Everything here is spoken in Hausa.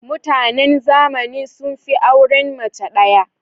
Mutanen zamani sun fi auren mace ɗaya.